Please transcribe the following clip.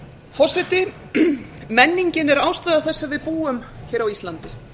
forseti menningin er ástæða þess að við búum á íslandi